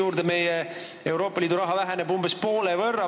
Euroopa Liidust meile eraldatav raha väheneb umbes poole võrra.